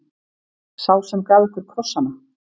Sá sem gaf ykkur krossana.